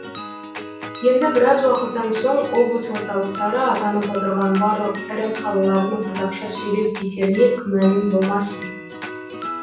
енді біраз уақыттан соң облыс орталықтары атанып отырған барлық ірі қалалардың қазақша сөйлеп кетеріне күмәнің болмасын